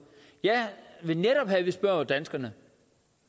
jeg vil netop have at vi spørger danskerne